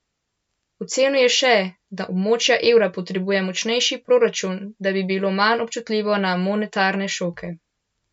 Ocenil je še, da območje evra potrebuje močnejši proračun, da bi bilo manj občutljivo na monetarne šoke.